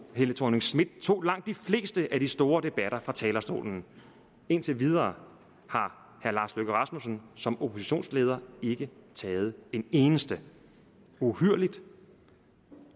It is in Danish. helle thorning schmidt tog langt de fleste af de store debatter fra talerstolen indtil videre har herre lars løkke rasmussen som oppositionsleder ikke taget en eneste uhyrligt